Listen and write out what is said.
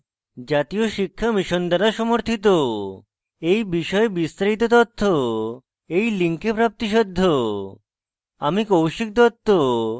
এই বিষয়ে বিস্তারিত তথ্য এই লিঙ্কে প্রাপ্তিসাধ্য spoken hyphen tutorial dot org slash nmeict hyphen intro